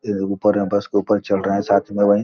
ये ऊपर है बस के ऊपर चढ़ रहे है साथ में --